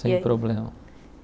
Sem problema.